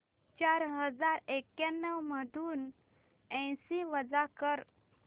चार हजार एक्याण्णव मधून ऐंशी वजा कर